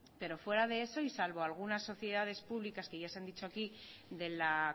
pero fuera de eso y salvo algunas sociedades públicas que ya se han dicho aquí de la